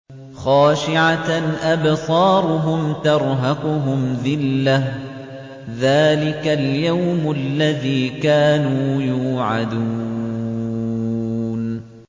خَاشِعَةً أَبْصَارُهُمْ تَرْهَقُهُمْ ذِلَّةٌ ۚ ذَٰلِكَ الْيَوْمُ الَّذِي كَانُوا يُوعَدُونَ